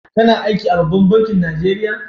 Kana aiki a ɓabban bankin Najeriya?